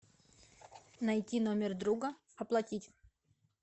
найти номер друга оплатить